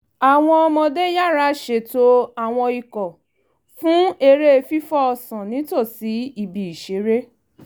àwọn ọmọdé yára ṣètò àwọn ikọ̀ fún eré fìfò ọ̀sán nítòsí ibi ìṣeré